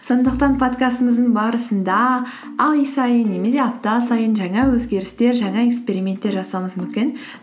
сондықтан подкастымыздың барысында ай сайын немесе апта сайын жаңа өзгерістер жаңа эксперименттер жасауымыз мүмкін